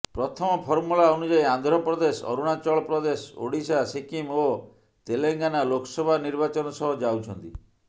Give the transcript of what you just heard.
ପ୍ରଥମ ଫର୍ମୂଲା ଅନୁଯାୟୀ ଆନ୍ଧ୍ରପ୍ରଦେଶ ଅରୁଣାଚଳ ପ୍ରଦେଶ ଓଡ଼ିଶା ସିକିମ୍ ଓ ତେଲେଙ୍ଗାନା ଲୋକସଭା ନିର୍ବାଚନ ସହ ଯାଉଛନ୍ତି